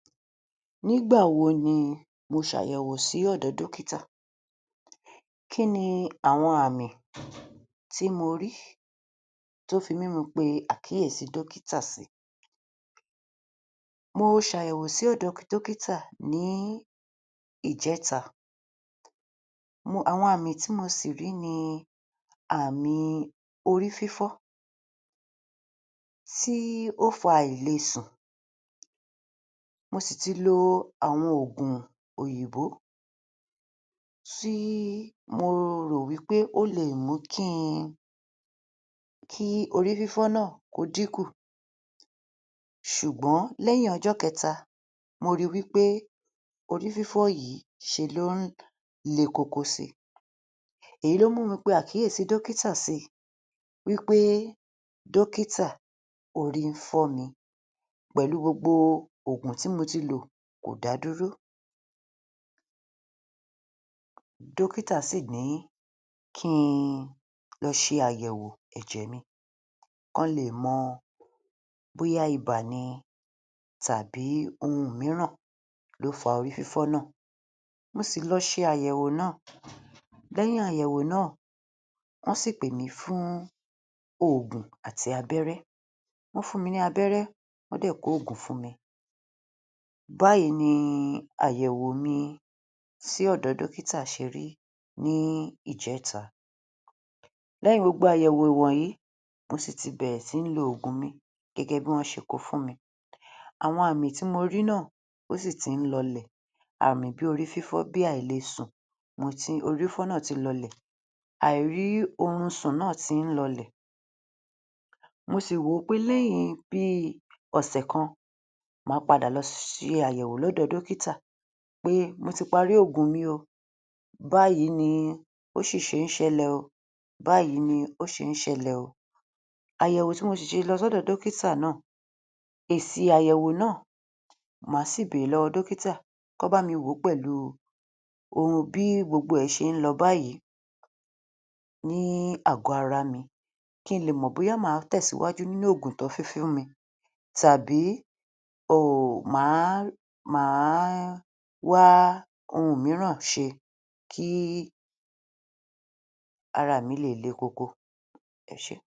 Nígbà wo ni mo ṣàyẹ̀wò sí ọ̀dọ̀ọ dọ́kítà Kí ni àwọn àmì tí mo rí? tó fi mú mi pe àkíyèsi dọ́kítà sí Mo ṣ'àyẹ̀wò sí ọ̀dọọ dọ́kítà ní ìjẹ́ta um àwọn àmì tí mo sì rí ni ààmì orí fífọ́ tí ó fa àìlesùn, mo sì ti lo àwọn òògùn òyìnbó tí mo rò wí pé ó leè mú kí n, kí orí fífọ́ náà kó dínkù ṣùgbọ́n lẹ́yìn ọjọ́ kẹta mo ríi wí pé orí fífọ́ yìí ṣe ló ń le koko sí i Èyí ló mú mi pe àkíyèsí dókítà sí i wí pé dókítà orí ń fọ́mi pẹ̀lú gbogbo òògùn tí mo ti lò, kò dá a dúró. Dókítà sì ní kí n lọ ṣe àyẹ̀wò ẹ̀jẹ̀ mi, kán leè mọ bóyá ibà ni tàbí ohun mìíràn ló fa orí fífọ́ náà. Mo sì lọ ṣe àyẹ̀wò náà, lẹ́yìn àyẹ̀wò náà ọ́n sì pèmí fún òògùn àti abẹ́rẹ́, wọ́n fún mi ní abẹ́rẹ́ wọ́n dẹ̀ kóògùn fún mi. Báyìí ni àyẹ̀wòo mi sí ọ̀dọ̀ dọ́kítà ṣe rí ní ìjẹ́ta. Lẹ́yìn gbogbo àyẹ̀wò ìwọ̀nyí, mo sì ti bẹ̀rẹ̀ sí lo òògùn mi gẹ́gẹ́ bí wọ́n ṣe kó o fún mi. Àwọn àmì tí mo rí náà, ó sì ti ń lọọlẹ̀, ààmì bí orí fífọ́, bí àìle sùn um orí fífọ́ náà ti lọ-ọlẹ̀. Àìrí oorun sùn náà ti ń lọlẹ̀, mo sì wò ó pé lẹ́yìn bíi ọ̀sẹ̀ kan, màá padà lọ um ṣe àyẹ̀wò lọ́dọ̀ dókítà pé mo ti parí òògùn mi oo. Báyìí ni ó ṣíṣe ń ṣẹlẹ̀ oo, báyìí ni ó ṣe ń ṣẹlẹ̀ oo, àyẹ̀wò tí mo sì ṣe lọ sọ́dọ̀ dọ́kítà náà, èsì àyẹ̀wò náà màá sì bèèrè lọ́wọ́ dọ́kítà, kán bámi wòó pẹ̀lú um bí gbogbo ẹ̀ ṣe ń lọ báyìí ní àgọ́ ara mi kí n lè mọ̀ bóyá màá tẹ̀síwájú nínú òògùn tí wọ́n fi fún mi tàbí màá um wá ohun mìíràn ṣe kí araà mi lè le koko. Ẹ ṣé